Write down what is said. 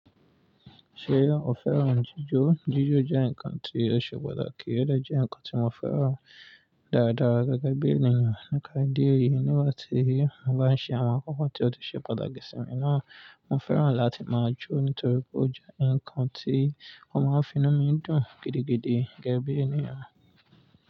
Ṣe o fẹ́ràn jíjó? Jíjó jẹ́ ǹkan tí ó ṣe pàtàkì, ó dà jẹ́ ǹkan tí mo fẹ́ràn dáradára gẹ́gẹ́ bí ènìyàn. Nípá ìdí èyí, nígbà tí mo bá ń ṣe àwọn n kankan tí ó ṣe pàtàkì sí mi náà, mo fẹ́ràn láti máa jó nítorí pé ijó jẹ́ ǹkan tí ó máa ń fi inú mi dùn gidigidi gẹ́gẹ́ bí ènìyàn.